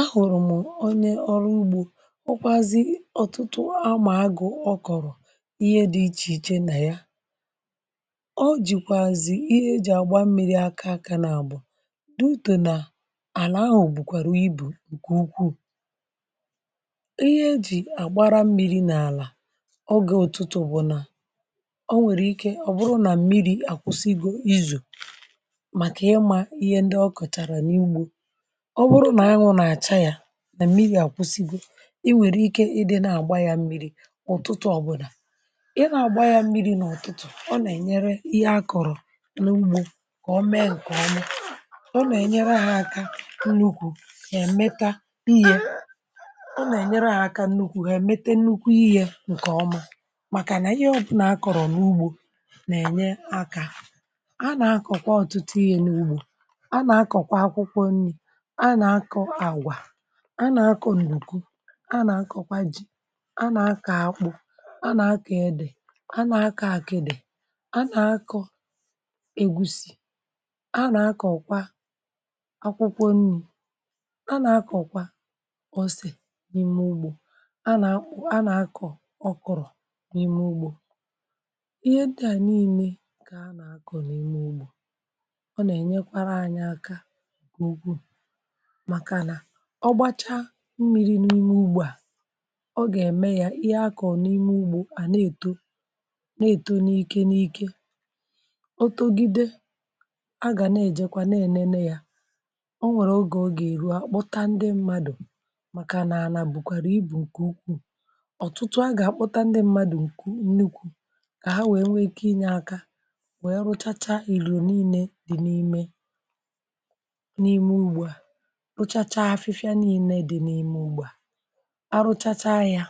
A hụrụ m onye ọrụ ugbò. Ọ kwazị ọtụtụ amàagụ, ọ kọrọ ihe dị iche iche nà ya. um Ọ jikwazị ihe eji agba mmiri aka, aka nà àbụ dị ụtụ nà àlà ahụ, bụkwàrà ibu nke ukwu ihe e ji àgbàrà mmiri n’àlà. Ọ gèrè ọtụtụ, bụ̀ nà ọ nwere ike, ọ̀ bụrụ nà mmiri àkwụsịịgo izù, ọ̀ bụrụ nà àhụ nà-acha, yà nà mmiri àkwụsịgbu. Ị nwere ike ịdị nà-àgba yà mmiri ụ̀tụtụ. Ọbụdà i nà-àgba yà mmiri n’ụ̀tụtụ, ọ nà-ènyere ihe akọrọ n’ugbò ka o mee nke o mee. Ọ nà-ènyere àhụkà nnukwu, nà-èmeta nhịẹ. Ọ nà-ènyere àhụkà nnukwu, hà èmete nnukwu ihe nke ọma, maka nà ihe ọ̀bụnà a kọrọ n’ugbò nà-ènye aka. um A nà-akọkwa ọtụtụ ihe n’ugbò a nà-akọ àgwà, a nà-akọ ǹdùku, a nà-akọkwa ji, a nà-akọ àkpụ, a nà-akọ e dì, a nà-akọ àkìdì, a nà-akọ egusi, a nà-akọkwa akwụkwọ nri, a nà-akọkwa osè. N’ime ugbò, ihe dị niile ka a nà-akọ. Ọ nà-ènyekwa anyị aka, ọ gbachaa mmiri n’ime ugbò, ọ gà-èmee ya, ihe akọ n’ime ugbò à na-èto, na-èto n’ike n’ike... Ọtọ̀gide agà n’ènene ya. Ọ nwèrè oge ọ gà-èru, akpọta ndị mmadụ, maka nà nke a bụ̀kwa ibù nke ukwu. Ọtụtụ gà-akpọta ndị mmadụ, nke nnukwu ka ha nwèrè, enwe ike inye aka, nwee rụchacha, ili dị n’ime, pụchacha afịfịa niile dị n’ime ụgbà. um A rụchacha ya,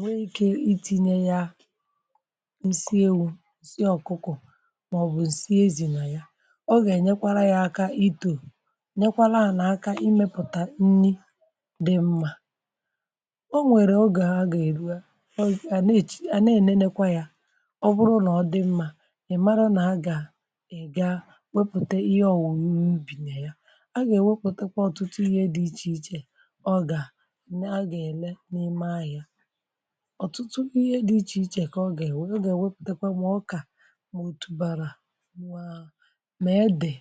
wee ike itinye ya nsi ewu, nsi ọ̀kụkụ, maọbụ̀ nsi ezì nà ya. Ọ gà-ènyekwa ya aka, itọ, nyekwa aka, imepụta nri dị mma. Ọ nwèrè oge a gà-èru, a nà-ènenekwa ya. Ọ bụrụ nà ọ dị mma, è mara nà a gà-èga wepụ́te ihe ọ̀wụ́, ihe gà-ewepụtakwa ọtụtụ ihe dị iche iche. Ọ gà a gà-ele n’ime ahịá, ọtụtụ ihe dị iche iche ka ọ gà, um gà-ewepụtakwa ọkà, ma o tùbara, ma a dị,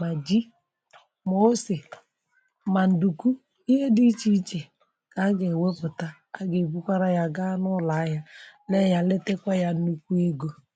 ma ji, ma osè, ma ǹdùku. Ihe dị iche iche a gà-ewepụtakwa taa, a gà-ebukwara ya gaa n’ụlọ ahịá, na-eye, letekwa ya n’ukwu ego. Ọ gà-ènyere anyị aka, um ọ gà-ènyekwa ndị ọzọ ọzụzụ maka ịrụ ọrụ ugbò ọma.